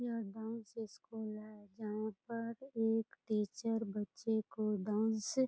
यह dance school है जहाँ पर एक टीचर बच्चे को डांस --